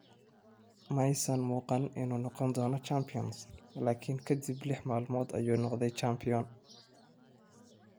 "Ma aysan muuqan inuu noqon doono champion, laakiin ka dib lix maalmood ayuu noqday champion."